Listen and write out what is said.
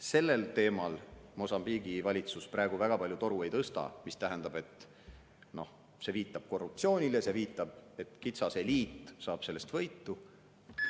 Sellel teemal Mosambiigi valitsus praegu väga palju toru ei tõsta, mis tähendab, et see viitab korruptsioonile, see viitab sellele, et kitsas eliit saab sellest võitu.